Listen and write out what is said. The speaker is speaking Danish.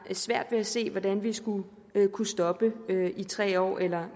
svært ved at se hvordan vi skulle kunne stoppe det i tre år eller